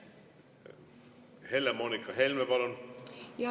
Helle-Moonika Helme, palun!